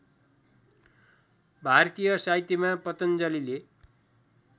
भारतीय साहित्यमा पतञ्जलिले